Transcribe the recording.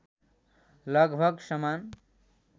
लगभग समान